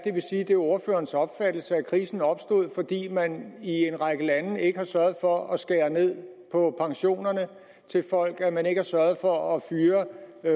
det er ordførerens opfattelse at krisen opstod fordi man i en række lande ikke har sørget for at skære ned på pensionerne til folk fordi man ikke har sørget for at fyre